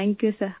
thank you सिर